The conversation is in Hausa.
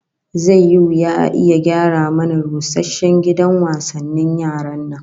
Zai yi wuya a iya gyara mana rusasshen gidan wasannin yaran nan